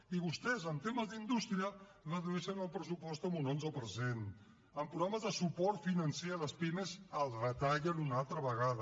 i vostès en temes d’indústria redueixen el pressupost en un onze per cent en programes de suport financer a les pimes el retallen una altra vegada